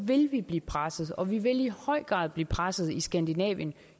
vil vi blive presset og vi vil i høj grad blive presset i skandinavien